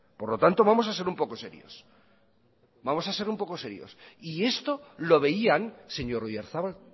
por lo tanto vamos a ser un poco serios vamos a ser un pocos serios y esto lo veían señor oyarzabal